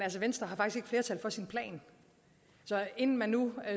venstre har faktisk ikke flertal for sin plan så inden man nu